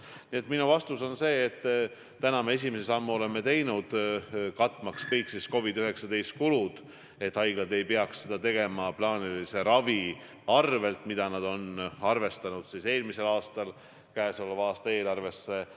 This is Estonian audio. Nii et minu vastus on see, et me esimese sammu oleme teinud, katmaks kõiki COVID-19 kulusid, et haiglad ei peaks seda tegema plaanilise ravi arvel, mida nad on arvestanud eelmisel aastal käesoleva aasta eelarvesse.